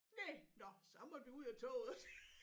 Næ nåh så måtte vi ud af toget